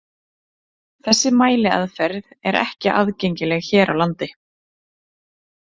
Þessi mæliaðferð er ekki aðgengileg hér á landi.